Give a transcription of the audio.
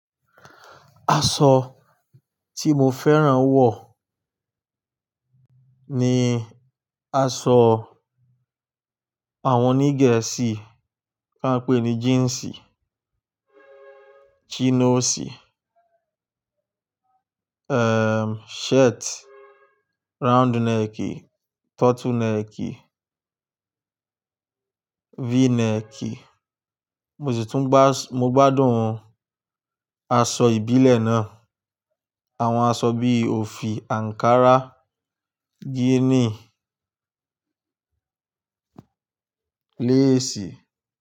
Aṣọ tí mo fẹ́ràn wọ̀ ni aṣọ àwọn oní Gẹ̀ẹ́sì tí a ń pè ní jíǹsì, chinosi, eh shirt, round neck, turtle neck, v-neck. Mo sì tún gbá-- mo gbádùn aṣọ ìbílẹ̀ náà. Àwọn aṣọ bí i òfì, ankara, gini, leesi.